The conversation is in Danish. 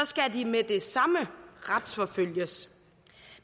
skal de med det samme retsforfølges